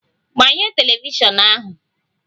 Gbanye telivishọn ahu!